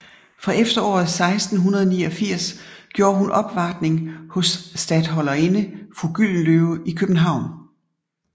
Fra efteråret 1689 gjorde hun opvartning hos statholderinde fru Gyldenløve i København